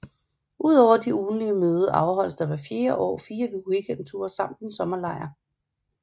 Udover de ugentlige møde afholdes der hvert år fire weekendture samt en sommerlejr